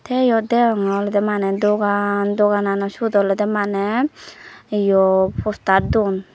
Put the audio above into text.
te yot deyongye olode mane dogan doganano siyot olode mane yo poster don.